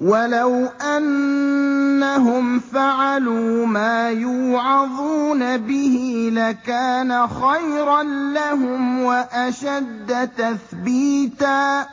وَلَوْ أَنَّهُمْ فَعَلُوا مَا يُوعَظُونَ بِهِ لَكَانَ خَيْرًا لَّهُمْ وَأَشَدَّ تَثْبِيتًا